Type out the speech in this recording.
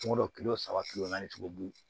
Kungolo kilo saba kilo naani sugu